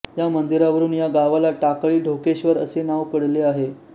यामंदिरावरून या गावाला टाकळी ढोकेश्वर असे नाव पडले आहे